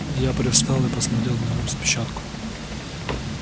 ну я привстал и посмотрел на распечатку